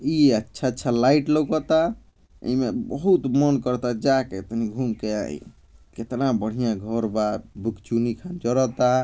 ई अच्छा अच्छा लाइट लउकता। एइमें बहुत मन करता जा के तनी घूम के आई कितना बढ़ियाँ घर बा भुक्चुनी खान जरता।